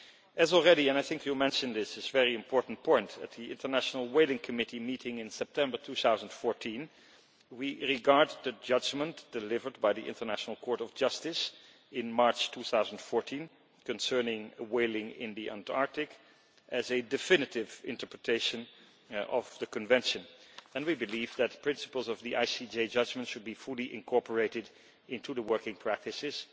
As already said, and I think you mentioned this very important point, at the International Whaling Commission meeting in September 2014, we regard the judgment delivered by the International Court of Justice in March 2014 concerning whaling in the Antarctic as a definitive interpretation of the Convention, and we believe that the principles of the ICJ judgment should be fully incorporated into the working practices,